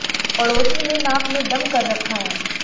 पड़ोसी ने नक में दम कर रखा है